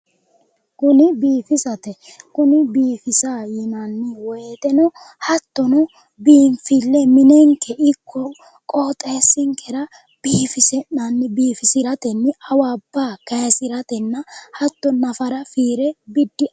Kuni biifisate kuni biifisa yinanni woyiteno hattono biinfille minenkeno ikko qooxeessinkera biifisinanni biifisiratenni awabba kaysiratenna hatto nafara fiire